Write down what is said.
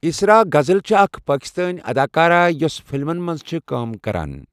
اِسرا غزل چھِ اَکھ پاکِستٲنؠ اَداکارہ یۄس فِلمَن مَنٛز چھِ کٲم کَران.